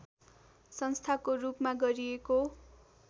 संस्थाको रूपमा गरिएको